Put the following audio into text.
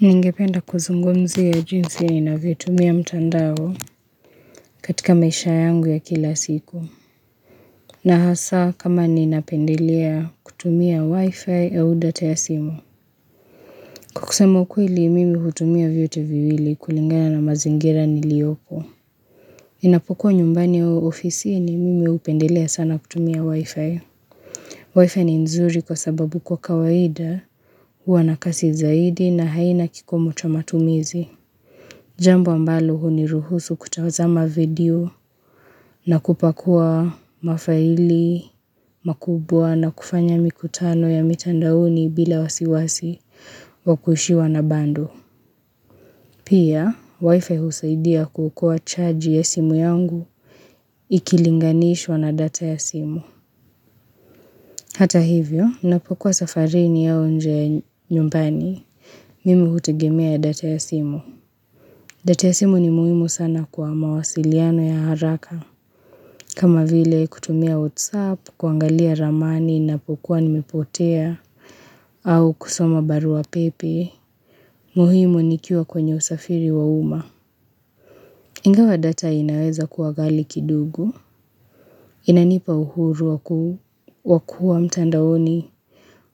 Ningependa kuzungumzia jinsi ya ninavyo itumia mtandao katika maisha yangu ya kila siku. Na hasa kama ni inapendelea kutumia wifi au data ya simu. Kwa kusema ukweli mimi hutumia viyote viwili kulingana na mazingira nilioko. Inapokowu nyumbani au ofisini mimi hupendelea sana kutumia wifi. Wifi ni nzuri kwa sababu kwa kawaida, huwanakasi zaidi na haina kikomo cha matumizi. Jambo ambalo huniruhusu kutazama video na kupakua mafaili, makubwa na kufanya mikutano ya mitandaoni bila wasiwasi wakuishiwa na bundle. Pia, wifi husaidia kuokoa charge ya simu yangu ikilinganishwa na data ya simu. Hata hivyo, ninapokuwa safarini au nje ya nyumbani. Mimi hutegemea data ya simu. Data ya simu ni muhimu sana kwa mawasiliano ya haraka. Kama vile kutumia whatsapp, kuangalia ramani ninapokuwa nimepotea au kusoma barua pepe, muhimu nikiwa kwenye usafiri wa uma Ingawa data inaweza kuwa ghali kidogo inanipa uhuru wa kuwa mtandaoni